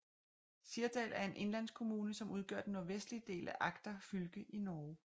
Sirdal er en indlandskommune som udgør den nordvestlige del af Agder fylke i Norge